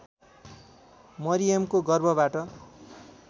मरियमको गर्भबाट